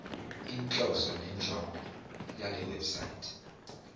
inhloso nenjongo yalewebsite